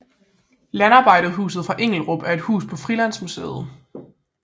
Landarbejderhuset fra Englerup er et hus på Frilandsmuseet